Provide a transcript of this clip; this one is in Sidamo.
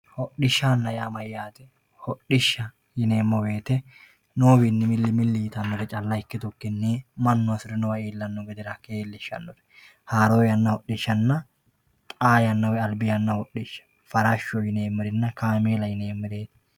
Hodhishshaanna yaa mayyaate? Hodhishsha yineemmo woyiite noowiinni milli milli yitannore calla ikkitukkinni mannu hasirnowa illanno gede rakke iillishshannore haaro yanna hodhishshanna xaa yanna woyi albi hodhishsha farashsho yineemmerinna kameela yineemmeri